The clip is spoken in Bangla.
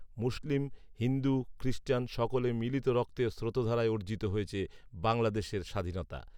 মুসলিম, হিন্দু, খৃস্টান সকলের মিলিত রক্তের স্রোতধারায় অর্জিত হয়েছে বাংলাদেশের স্বাধীনতা